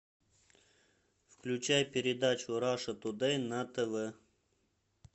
включай передачу раша тудей на тв